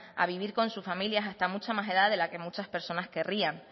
a vivir con sus familias hasta mucha más edad de la que muchas personas querrían